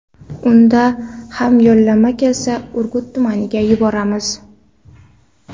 Unda ham yo‘llanma kelsa, Urgut tumaniga yuboramiz.